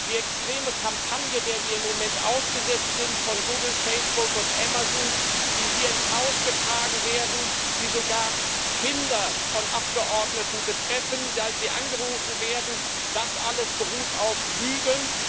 Die extreme Kampagne von Google, Facebook und Amazon, der wir im Moment ausgesetzt sind, die hier ins Haus getragen werden, die sogar Kinder von Abgeordneten betreffen, da sie angerufen werden das alles beruht auf Lügen.